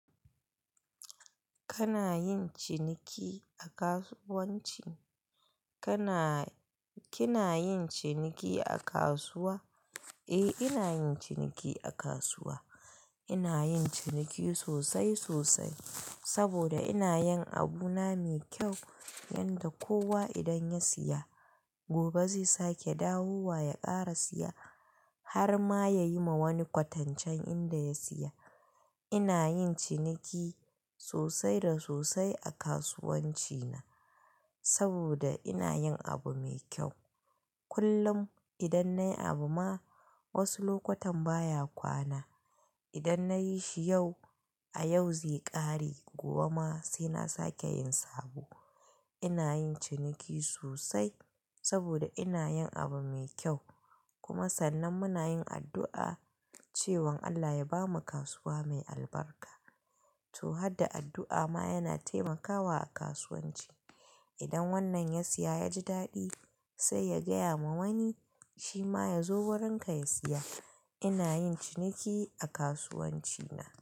Kana yin ciniki a kasuwanci? Kana-- kina yin ciniki a kasuwa? Eh, ina yin ciniki a kasuwa. Ina yin ciniki sosai sosai saboda ina yin abu na mai kyau yanda kowa idan ya siya gobe zai sake dawowa ya ƙara siya har ma ya yi ma wani kwatancen inda ya siya. Ina yin ciniki sosai da sosai a kasuwanci na saboda ina yin abu mai kyau. Kullum idan nayi abu ma wasu lokutan baya kwana. Idan nayi shi yau, a yau zai ƙare gobe ma sai na sake yin sabo. Ina yin ciniki sosai saboda ina yin abu mai kyau kuma sannan muna yin addu'a cewan Allah ya bamu kasuwa mai albarka. To, hadda addu'a ma yana taimakawa a kasuwanci. Idan wannan ya siya ya ji daɗi sai ya gaya ma wani shi ma ya zo wurinka ya siya. Ina yin ciniki a kasuwanci na.